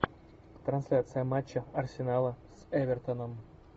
трансляция матча арсенала с эвертоном